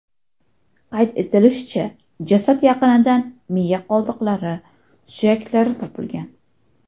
Qayd etilishicha, jasad yaqinidan miya qoldiqlari, suyaklari topilgan.